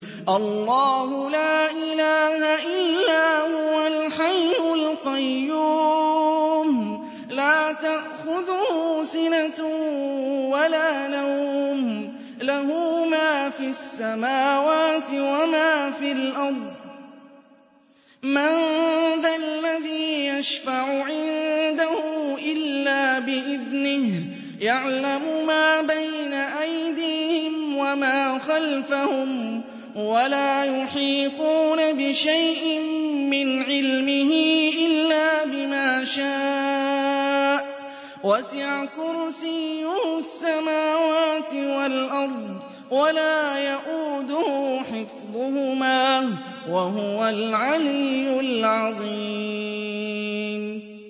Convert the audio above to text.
اللَّهُ لَا إِلَٰهَ إِلَّا هُوَ الْحَيُّ الْقَيُّومُ ۚ لَا تَأْخُذُهُ سِنَةٌ وَلَا نَوْمٌ ۚ لَّهُ مَا فِي السَّمَاوَاتِ وَمَا فِي الْأَرْضِ ۗ مَن ذَا الَّذِي يَشْفَعُ عِندَهُ إِلَّا بِإِذْنِهِ ۚ يَعْلَمُ مَا بَيْنَ أَيْدِيهِمْ وَمَا خَلْفَهُمْ ۖ وَلَا يُحِيطُونَ بِشَيْءٍ مِّنْ عِلْمِهِ إِلَّا بِمَا شَاءَ ۚ وَسِعَ كُرْسِيُّهُ السَّمَاوَاتِ وَالْأَرْضَ ۖ وَلَا يَئُودُهُ حِفْظُهُمَا ۚ وَهُوَ الْعَلِيُّ الْعَظِيمُ